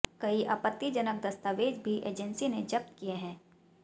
कई आपत्तिजनक दस्तावेज भी एजेंसी ने जब्त किए हैं